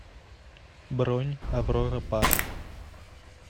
бронь аврора парк